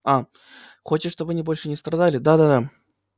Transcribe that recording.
а хочешь чтобы они больше не страдали да-да-да